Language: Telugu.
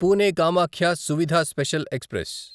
Pune Kamakhya Suvidha special express